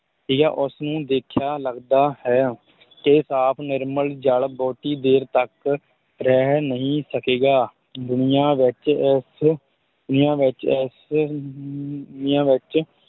ਉਸ ਨੂੰ ਦੇਖਿਆ ਲਗਦਾ ਹੈ ਤੇ ਸਾਫ਼ ਨਿਰਮਲ ਜਲ ਬਹੁਤੀ ਦੇਰ ਤੱਕ ਰਹਿ ਨਹੀਂ ਸਕੇਗਾ ਦੁਨੀਆ ਵਿੱਚ ਇਸ ਦੁਨੀਆ ਵਿੱਚ ਇਸ ਅਮ ਦੁਨੀਆਂ ਵਿੱਚ